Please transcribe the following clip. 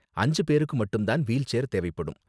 அஞ்சு பேருக்கு மட்டும் தான் வீல் சேர் தேவைப்படும்.